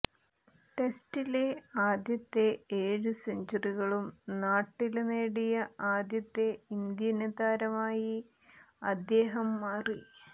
ടെസ്റ്റിലെ ആദ്യത്തെ ഏഴു സെഞ്ച്വറികളും നാട്ടില് നേടിയ ആദ്യത്തെ ഇന്ത്യന് താരമായി അദ്ദേഹം മാറി